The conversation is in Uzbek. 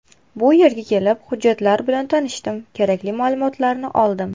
Bu yerga kelib, hujjatlar bilan tanishdim, kerakli ma’lumotlarni oldim.